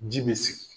Ji bɛ sigi